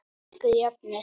Ekki jöfnuð.